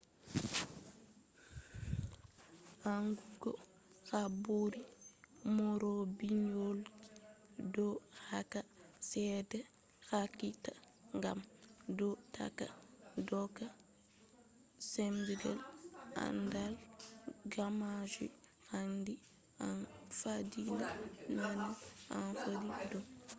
andugo habaru neurobiology do hokka seeda hakika gam do tokka doka binchike andal. gammajum handi en faddina bincike heba en heba hunde hakika